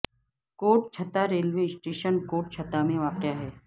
کوٹ Chutta railway station Kot Chutta میں واقع ہے